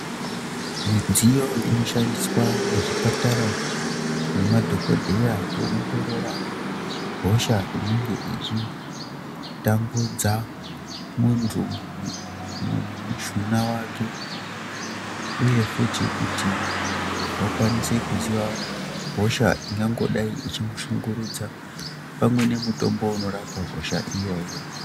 Midziyo inoshandiswa muzvipatara nemadhokodheya kuongorora hosha inenge ichitambudza muntu mumushuna wake uye futi kuti vakwanise kuziya hosha ingangodai ichimushungurudza pamwe nemutombo unorapa hosha iyoyo.